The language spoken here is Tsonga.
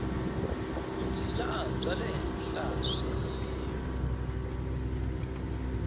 vutshila bya le henhla swiyimo